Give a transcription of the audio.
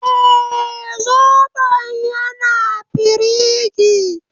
Eh, Zobon yana firingi